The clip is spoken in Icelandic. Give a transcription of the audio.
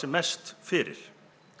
mest fyrir